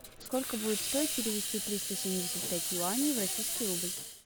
сколько будет стоить перевести триста семьдесят пять юаней в российский рубль